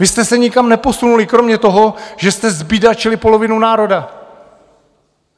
Vy jste se nikam neposunuli kromě toho, že jste zbídačili polovinu národa!